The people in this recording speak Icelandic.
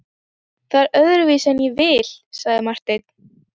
Það er öðruvísi en ég vil, sagði Marteinn.